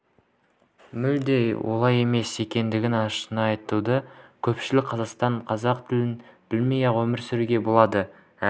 мүлде олай емес екенін ашына айтуда көпшілік қазақстанда қазақ тілін білмей-ақ өмір сүруге болады әрі